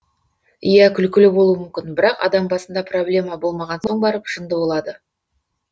иә күлкілі болуы мүмкін бірақ адам басында проблема болмаған соң барып жынды болады